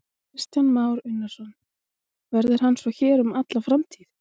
Kristján Már Unnarsson: Verður hann svo hér um alla framtíð?